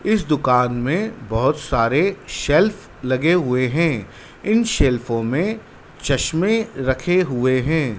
इस दुकान में बहोत सारे सेल्फ लगे हुए है इन सेल्फो में चश्मे रखे हुए हैं।